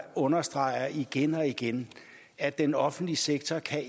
understreget igen og igen at den offentlige sektor